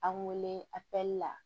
An wele a kɛli la